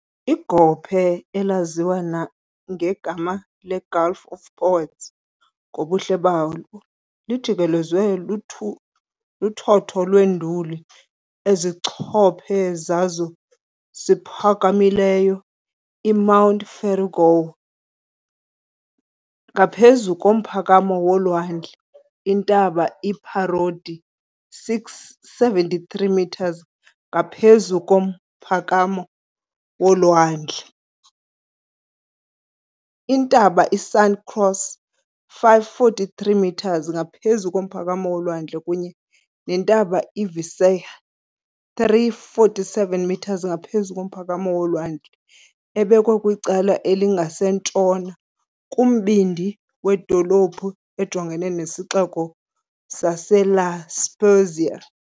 Igophe, elaziwa nangegama "leGulf of Poets" ngobuhle balo, lijikelezwe luthotho lweenduli ezincopho zazo ziphakamileyo, iMount Verrugoli 749m ngaphezu komphakamo wolwandle , iNtaba iParodi 673m ngaphezu komphakamo wolwandle , iNtaba iSanta Croce 543m ngaphezu komphakamo wolwandle, kunye neNtaba iViseggi 347m ngaphezu komphakamo wolwandle, ebekwe kwicala elingasentshona kumbindi wedolophu, ejongene nesixeko saseLa Spezia.